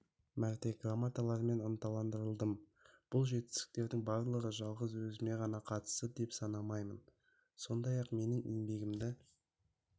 мәрте грамоталармен ынталандырылдым бұл жетістіктердің барлығын жалғыз өзіме ғана қатысты деп санамаймын сондай-ақ менің еңбегімді